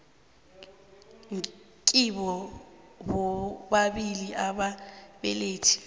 kibo bobabili ababelethi